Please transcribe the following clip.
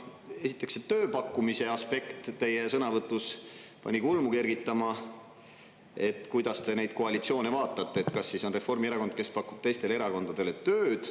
Esiteks see tööpakkumise aspekt teie sõnavõtus pani kulmu kergitama, et kuidas te neid koalitsioone vaatate, et kas siis on Reformierakond, kes pakub teistele erakondadele tööd.